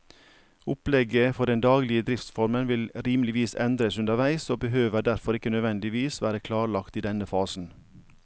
Opplegget for den daglige driftsformen vil rimeligvis endres underveis og behøver derfor ikke nødvendigvis være klarlagt i denne fasen.